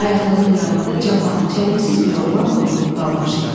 Ayaqlığın yanında cavan, çəlimsiz bir oğlan donuxub qalmışdı.